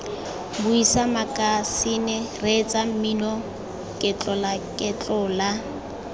buisa makasine reetsa mmino ketlolaketlola